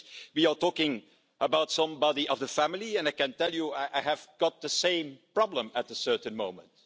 We are talking about somebody of the family, and I can tell you that I had the same problem at a certain moment.